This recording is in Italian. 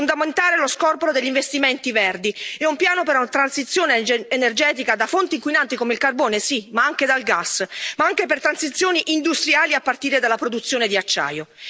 È fondamentale lo scorporo degli investimenti verdi e un piano per una transizione energetica da fonti inquinanti come il carbone sì, ma anche dal gas, ma anche per transizioni industriali a partire dalla produzione di acciaio.